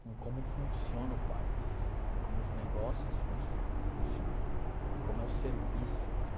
em como funciona o país, né, como os negócios funcio funcionam lá, como é o serviço lá.